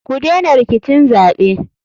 Kudena rikicin zaɓe.